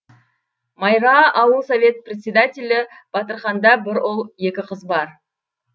майра ауыл совет председателі батырқанда бір ұл екі қыз бар